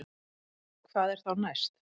Hvað er þá næst